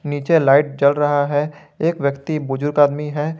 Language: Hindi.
नीचे लाइट जल रहा है एक व्यक्ति बुजुर्ग आदमी है।